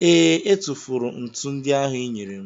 ee, e tufuru ntu ndị ahụ ịnyere m